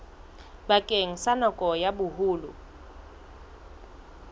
bakeng sa nako ya boholo